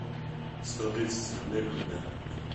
сто тридцать рублей в рублях